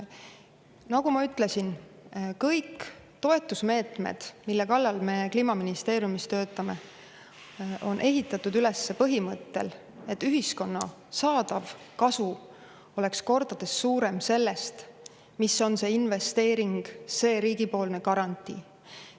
Nagu ma ütlesin, kõik toetusmeetmed, mille kallal me Kliimaministeeriumis töötame, on ehitatud üles põhimõttel, et ühiskonna saadav kasu oleks kordades suurem sellest, mis on investeeringud ja riigipoolne garantii.